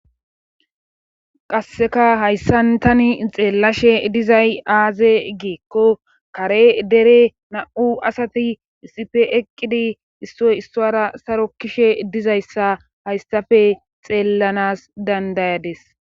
qasseka hayssantani xeellashe dizay aaze giekko kare dere na7u asati issife eqqidi issoy issora sarokishe dizayssa hayssafe xeellanas dandayades